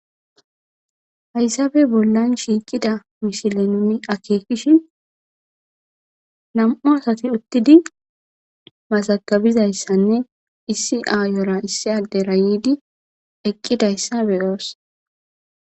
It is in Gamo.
hayssabe bollan shiiqida mishile nuni akeekishi nam7u asati uttidi mazagabizayssanne issi aayora issi adde rayidi eqqidayssa beyoos